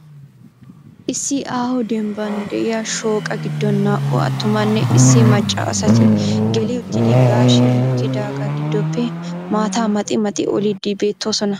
Issi aaho dembban de'iyaa shooqa giddon naa"u attumanne issi macca asati gelli uttidi gaashshe mokkidaaga giddoppe maata maxxi maxxi oliddi beettoosona.